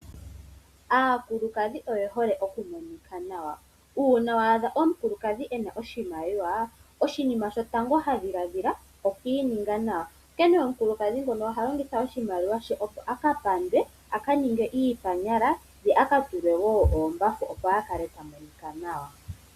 Aakulukadhi oye hole okumonika nawa. Uuna wa adha omukulukadhi ena oshimaliwa oshinima shotango ha dhiladhila oku ininga nawa. Onkene omukulukadhi ngono oha longitha oshimaliwa she opo a kapandwe, a kaningwe iipala ye a katulwe oombafu a kale ta monika nawa.